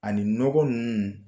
Ani nɔgɔ ninnu